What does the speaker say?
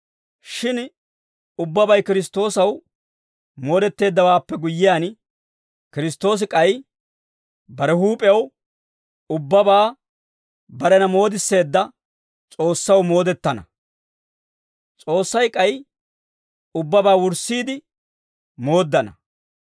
Shin ubbabay Kiristtoosaw moodetteeddawaappe guyyiyaan, Kiristtoosi k'ay bare huup'ew ubbabaa barena moodisseedda S'oossaw moodetana. S'oossay k'ay ubbabaa wurssiide mooddana.